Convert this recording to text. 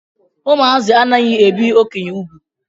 Ụmụazị anaghị ebi okenye úgwù.